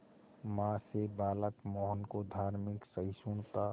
मां से बालक मोहन को धार्मिक सहिष्णुता